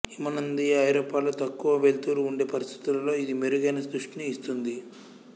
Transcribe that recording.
హిమనదీయ ఐరోపాలో తక్కువ వెలుతురు ఉండే పరిస్థితుల్లో ఇది మెరుగైన దృష్టిని ఇస్తుంది